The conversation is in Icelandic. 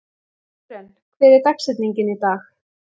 Sören, hver er dagsetningin í dag?